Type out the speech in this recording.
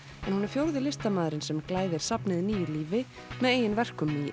en hún er fjórði listamaðurinn sem glæðir safnið nýju lífi með eigin verkum í